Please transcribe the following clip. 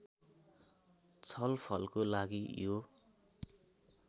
छलफलको लागि यो